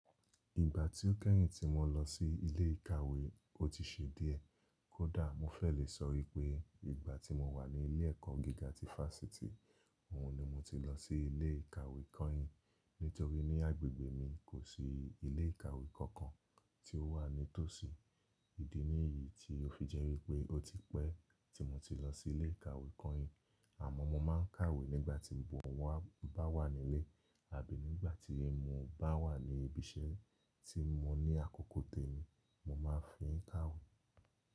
Ìgbà tí ó kẹ́yìn tí mo lọ sí ilé ìkàwé, ó ti ṣe díẹ̀. Kódà mo fẹ́ lè sọ wípé ìgbà tí mo wà ní ilé ẹ̀kọ́ gíga ti Fásitì, òun ni mo ti lọ sí ilé ìkàwé kọ́yin. Nítorí ní agbègbè mi kò sí ilé ìkàwé kankan tí ó wà ní tòsí. Ìdí ní yìí tí ó fi jẹ́ wípé ó ti pẹ́ tí mo ti lọ sí ilé ìkàwé kọ́yin. Àmọ́ mo máa ń kàwé nígbà mo bá wà nílé àbí nígbà tí mo bá wà ní ibi iṣẹ́ tí mo ní àkókò tèmi, mo máa fi ń kàwé.